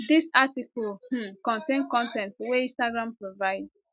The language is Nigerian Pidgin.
dis article um contain con ten t wey instagram provide